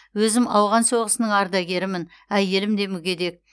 өзім ауған соғысының ардагерімін әйелім де мүгедек